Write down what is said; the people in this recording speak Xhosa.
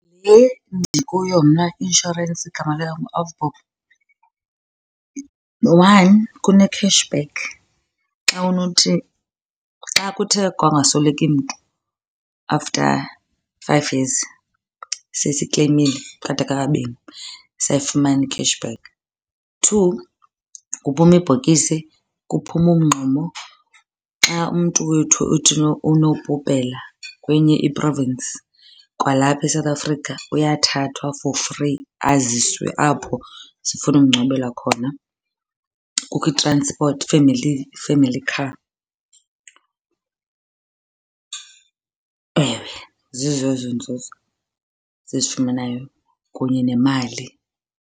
Le ndikuyo mna i-inshorensi igama layo nguAvbob. One, kune-cash back xa unothi, xa kuthe kwangasweleki mntu after five years. Sesikleyimile kwade kwakabini, sayifumana i-cash back. Two, kuphuma ibhokisi, kuphuma umngxumo. Xa umntu wethu unobhubhela kwenye i-province kwalapha eSouth Africa uyathathwa for free aziswe apho sifuna umngcwabela khona. Kukho i-transport, i-family, i-family car. Ewe zizo ezo nzuzo sizifumanayo kunye nemali.